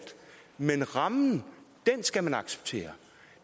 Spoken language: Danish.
men rammen skal man acceptere